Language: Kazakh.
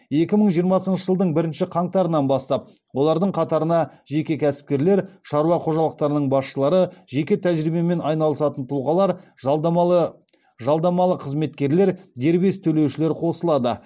екі мың жиырмасыншы жылдың бірінші қаңтарынан бастап олардың қатарына жеке кәсіпкерлер шаруа қожалықтарының басшылары жеке тәжірибемен айналысатын тұлғалар жалдамалы жалдамалы қызметкерлер дербес төлеушілер қосылады